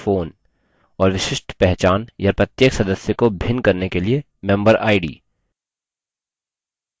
और विशिष्ट पहचान या प्रत्येक सदस्य को भिन्न करने के लिए member id